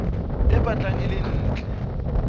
e batlang e le ntle